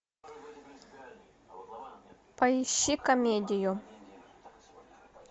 поищи комедию